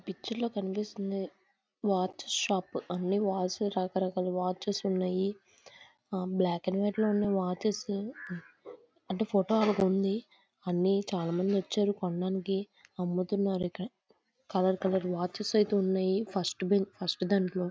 Picture లో కనిపిస్తుంది watch shop అన్ని వాచెస్ రకరకాల వాచెస్ ఉన్నాయి. ఆ బ్లాక్ అండ్ వైట్ లో ఉన్నాయి వాచెస్ అంటే ఫోటో ఆల్బమ్ ఉంది అన్నీ చాల మంది వచ్చారు కొనడానికి అముతున్నారు ఇక్కడ కలర్ కలర్ వాచెస్ అయితే ఉన్నాయి ఫస్ట్ బెన్ ఫస్ట్ దానిలో.